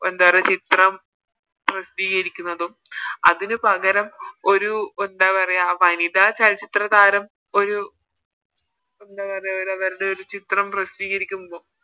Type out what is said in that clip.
എന്താ പറയാ ഒരു ചിത്രം പ്രസിദ്ധീകരിക്കുന്നതും അതിനു പകരം ഒരു എന്താ പറയാ വനിതാ ചലച്ചിത്ര താരം ഒരു ന്ത പറയാ ഒരു വെറുതെ ഒരു ചിത്രം പ്രസിദ്ധീകരിക്കുന്നതും